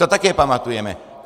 To také pamatujeme.